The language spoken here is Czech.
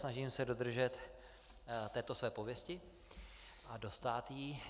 Vynasnažím se dodržet této své pověsti a dostát jí.